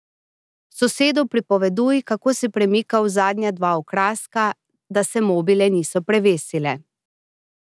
Sosedu pripoveduj, kako si premikal zadnja dva okraska, da se mobile niso prevesile.